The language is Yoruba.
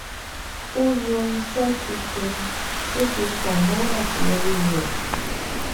ó yàn iṣé tuntun tó fi kàn mọ àṣeyọrí rẹ